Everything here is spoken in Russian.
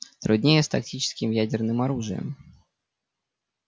труднее с тактическим ядерным оружием